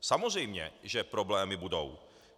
Samozřejmě že problémy budou.